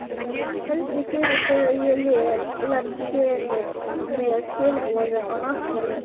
Helgi sefur þegar ég legg seðil með skilaboðum á náttborðið.